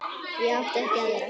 Ég átti ekki aðra.